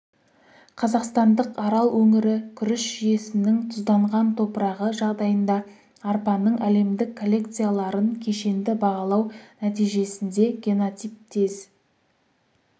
қазақстандық арал өңірі күріш жүйесінің тұзданған топырағы жағдайында арпаның әлемдік коллекцияларын кешенді бағалау нәтижесінде генотип тез